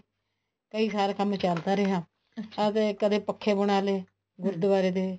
ਕਈ ਸਾਲ ਕੰਮ ਚੱਲਦਾ ਰਿਹਾ ਅਸੀਂ ਕਦੇ ਪੱਖੇ ਬਣਾ ਲੈ ਗੁਰੁਦਵਾਰੇ ਦੇ